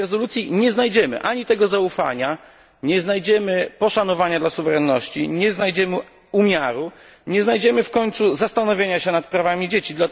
W tej rezolucji nie znajdziemy ani tego zaufania, nie znajdziemy poszanowania dla suwerenności, nie znajdziemy umiaru, nie znajdziemy w końcu zastanowienia się nad prawami dzieci.